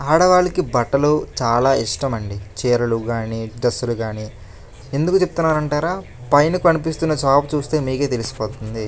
ఆడవాళ్ళకి బట్టలు చాలా ఇష్టం అండి. చీరలు గాని డ్రెస్సులు గాని ఎందుకు చెప్తున అంటారా పైన కనిపిస్తున్న షాప్ చూస్తే మీకే తెలిసిపోతుంది.